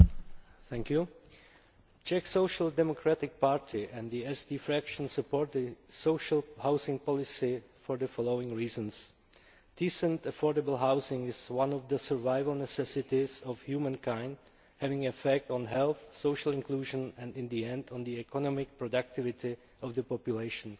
Madam President, the Czech Social Democratic Party and the SD Group support the social housing policy for the following reasons decent affordable housing is one of the survival necessities of humankind, having an effect on health, social inclusion and, in the end, on the economic productivity of the population.